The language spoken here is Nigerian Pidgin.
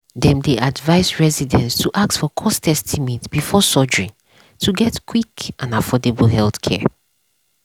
dem dey advise residents to ask for cost estimate before surgery to get quick and affordable healthcare.